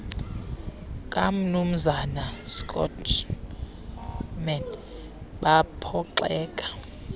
kamnumzana schoeman baphoxeka